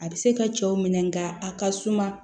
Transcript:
A bɛ se ka cɛw minɛ nka a ka suma